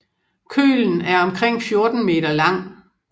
Kølen er omkring 14 m lang